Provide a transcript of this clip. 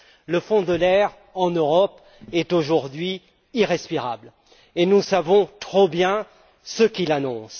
Le fond de l'air en Europe est, aujourd'hui, irrespirable, et nous savons trop bien ce qu'il annonce.